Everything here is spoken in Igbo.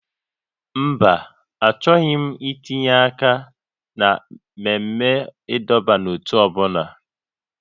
Mba, achọghị m itinye aka na mmemme ịdọba n'ótú ọ bụla